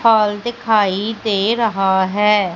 Hall दिखाई दे रहा है।